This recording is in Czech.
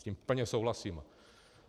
S tím plně souhlasím.